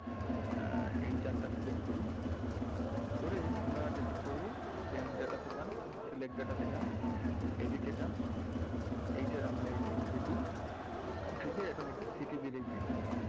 আহ এই chart টা select করি করে আমরা যেটা করবো same data তে যান select data টা তে যান edit এ যান এইটার আমরা এইটা উঠিয়ে দেই আমরা city র এই PIN দিন।